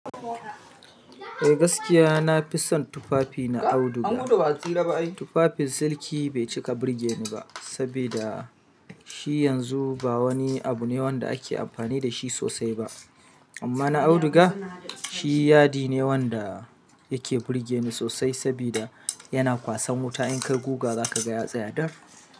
Eh gaskiya na fi son tufafi na auduga. Tufafin silki bai cika burge ni ba saboda shi yanzu ba wani abu ne wanda ake amfani da shi sosai ba. Amma na auduga shi yadi ne wanda yake burge ni sosai saboda yana kwasan wuta. In ka guga za ka ga yatsa ya darr.